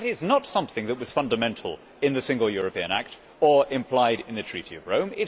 That is not something that was fundamental in the Single European Act or implied in the Treaty of Rome.